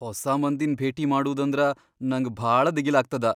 ಹೊಸಾ ಮಂದಿನ್ ಭೇಟಿ ಮಾಡೂದಂದ್ರ ನಂಗ್ ಭಾಳ ದಿಗಿಲಾಗ್ತದ.